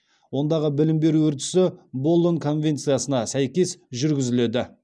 ондағы білім беру үрдісі болон конвенциясына сәйкес жүргізіледі